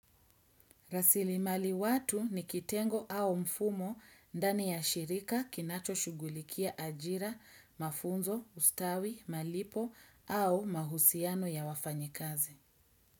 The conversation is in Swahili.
Rasilimali watu ni kitengo au mfumo ndani ya shirika kinacho shugulikia ajira, mafunzo, ustawi, malipo au mahusiano ya wafanyikazi.